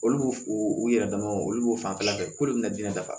Olu b'o u yɛrɛ dama o olu b'o fanfɛla fɛ k'olu bɛna diinɛ dafa